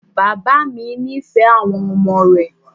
Bàbá mi nífẹ̀ẹ́ àwọn ọmọ rẹ̀.